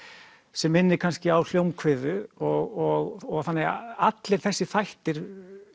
sem minnir kannski á og þannig að allir þessir þættir